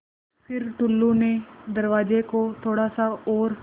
फ़िर टुल्लु ने दरवाज़े को थोड़ा सा और